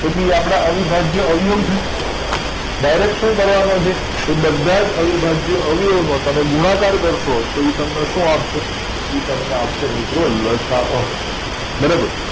તો કે આપડા અવિભાજ્ય અવયવીઓ છે direct શું કરવા નું છે એ બધા જ અવિભાજ્ય અવિયવી ઓ નો તમે ગુણાકાર કરશો તો એ તમને શું આપશે એ તમને આપશે મિત્રો લસા અ બરાબર